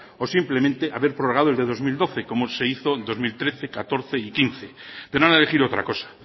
o simplemente haber prorrogado el de dos mil doce como se hizo en dos mil trece dos mil catorce y dos mil quince pero han elegido otra cosa